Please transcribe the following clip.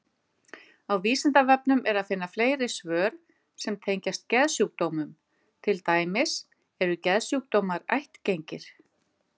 Á Vísindavefnum er að finna fleiri svör sem tengjast geðsjúkdómum, til dæmis: Eru geðsjúkdómar ættgengir?